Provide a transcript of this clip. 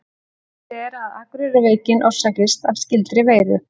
Talið er að Akureyrarveikin orsakist af skyldri veiru.